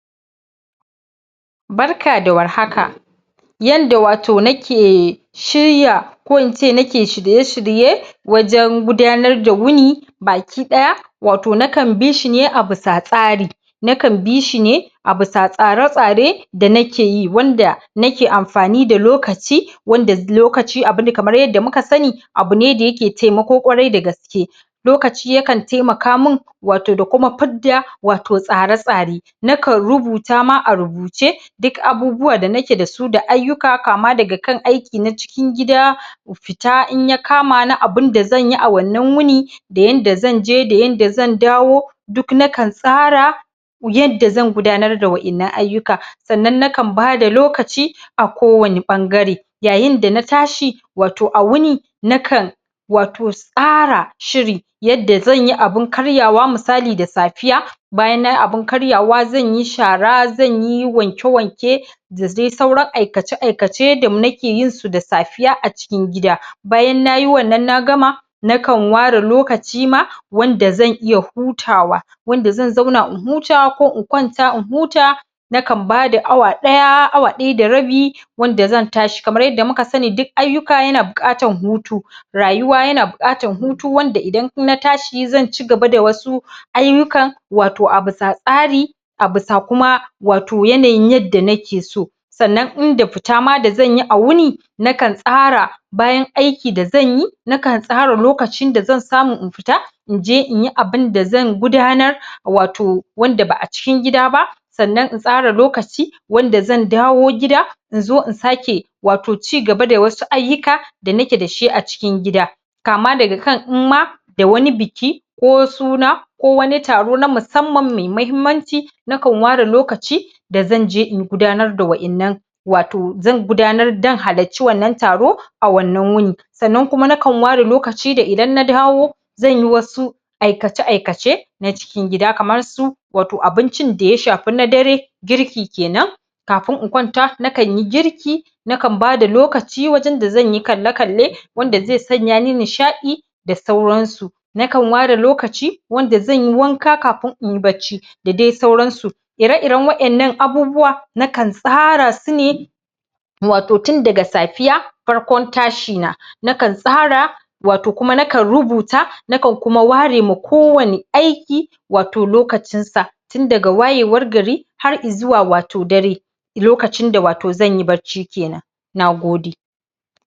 Barka da war haka. Yanda wato nake shirya ko ince nake shirye-shirye wajen gudanar da wuni baki ɗaya wato nakan bishi ne a bisa tsari. Nakan bishi ne a bisa tsare-tsare da nakeyi wanda nake amfani da lokaci wanda lokaci abune kamar yadda muka sani abune da yake taimako ƙwarai da gaske. Lokaci yakan taimaka min wato da kuma fidda wato tsare-tsare. Nakan rubuta ma a rubuce duk abubuwa da nake dasu da ayyuka kama daga kan aiki na cikin gida fita in ya kamani abunda zanyi a wannan wuni da yanda zanje da yanda zan dawo duk nakan tsara yanda zan gudanar da waɗannan ayyuka. Sannan nakan bada lokaci a ko wane ɓangare. Yayin da na tashi wato a wuni nakan wato tsara shiri yanda zanyi abun karyawa misali da safiya bayan nayi abun karyawa zanyi shara, zanyi wanke-wanke da dai sauran aikace-aikace da nake yinsu da safiya a cikin gida bayan nayi wannan na gama nakan ware lokacima wanda zan iya hutawa. Wanda zan zauna in huta ko in kwanta in huta nakan bada awa ɗaya awa ɗaya da rabi wanda zan tashi kamar yadda muka sani duk ayyuka yana buƙatar hutu. Rayuwa yana buƙatar hutu wanda idan na tashi zan ci gaba da wasu ayyukan wato a bisa tsari abisa kuma wato yanayin yadda nake so. Sannan inda fita ma da zanyi a wuni nakan tsara bayan aiki da zanyi nakan tsara lokacin da zan samu in fita inje inyi abunda zan gudanar wato wanda ba a cikin gida ba sannan in tsara lokaci wanda zan dawo gida inzo in sake wato ci gaba da wasu ayyuka da nake dashi a cikin gida. Kama daga kan inma da wani biki ko suna ko wani taro na musamman mai mahimmanci nakan ware lokaci da zanje in gudanar da wa'innan wato zan gudanar zan halarci wannan taro a wannan wuni. Sannan kuma nakan ware lokaci da idan na dawo zanyi wasu aikace aikace na cikin gida. Kaman su wato abincin da ya shafi na dare girki kenan kafin in kwanta nakanyi girki nakan bada lokaci wajen da zanyi kalle-kalle wanda zai sanya ni nishadi da sauran su. Nakan ware lokaci wanda zanyi wanka kafin inyi bacci. da dai suran su. Ire-iren waɗannan abubuwa nakan tsara su ne wato tun daga safiya farkon tashina. Nakan tsara wato kuma nakan rubuta nakan kuma ware ma kowane aiki wato lokacin sa. Tun daga wayewar gari har i zuwa wato dare. Lokacin da wato zanyi bacci kenan. Nagode.